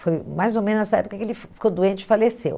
Foi mais ou menos nessa época que ele fi ficou doente e faleceu.